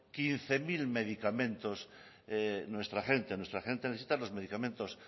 quince mil medicamentos nuestra gente necesita los medicamentos